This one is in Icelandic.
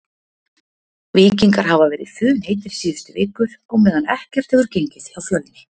Víkingar hafa verið funheitir síðustu vikur á meðan ekkert hefur gengið hjá Fjölni.